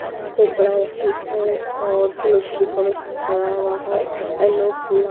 यहां पे एक बड़ा ऑफिस है और फूलों से डेकोरेशन करा हुआ है येलो फूला--